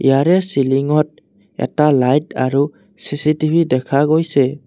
ইয়াৰে চিলিংত এটা লাইট আৰু চি_চি_টি_ভি দেখা গৈছে।